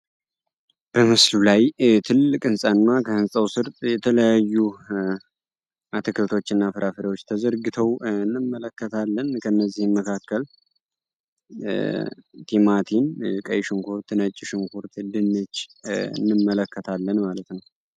በምስሉ ላይ ትልቅ ህንፃ እና ከህንፃው ስር የተለያዩ አትክልት እና ፍራፍሬዎች ተዘርግተው እንመለከታለን። ቲማቲም፣ ቀይ ሽንኩርት፣ ነጭ ሽንኩርት፣ ድንች እንመለከታለን ማለት ነው።